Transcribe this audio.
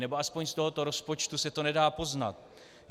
Nebo aspoň z tohoto rozpočtu se to nedá poznat.